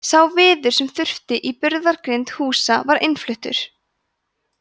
sá viður sem þurfti í burðargrind húsa var innfluttur